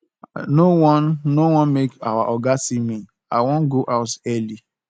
i no wan no wan make our oga see me i wan go house early